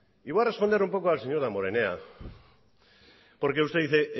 y voy a responder un poco al señor damborenea porque usted dice